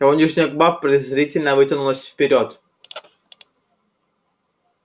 его нижняя губа презрительно вытянулась вперёд